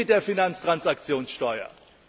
Was ist denn mit der Finanztransaktionssteuer?